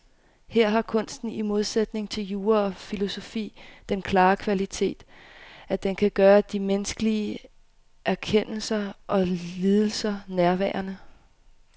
Her har kunsten i modsætning til jura og filosofi den klare kvalitet, at den kan gøre de menneskelige erkendelser og lidelser nærværende.